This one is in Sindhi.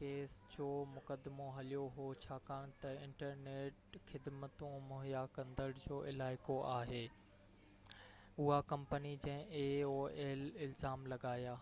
ڪيس جو مقدمو هليو هو ڇاڪاڻ تہ انٽرنيٽ خدمتون مهيا ڪندڙ aol جو علائقو آهي اها ڪمپني جنهن الزام لڳايا